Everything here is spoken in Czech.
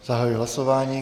Zahajuji hlasování.